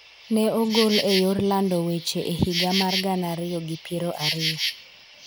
ne ogol e yor lando weche e higa mar gana ariyi gi piero ariyo.